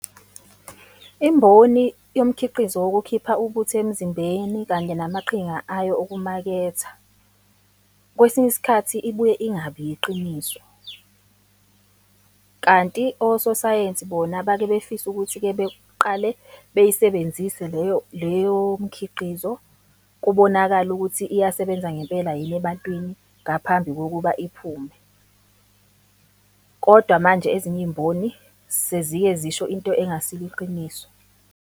Imboni yomkhiqizo wokukhipha ubuthi emzimbeni kanye namaqhinga ayo okumaketha, kwesinye isikhathi ibuye ingabi yiqiniso. Kanti ososayensi bona bake befise ukuthi-ke beqale beyisebenzise leyo leyo mikhiqizo, kubonakale ukuthi iyasebenza ngempela yini ebantwini ngaphambi kokuba iphume. Kodwa manje ezinye iy'mboni sezike zisho into engasilo iqiniso.